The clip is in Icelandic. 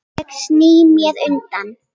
Ég sný mér undan.